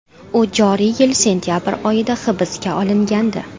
U joriy yil sentabr oyida hibsga olingandi.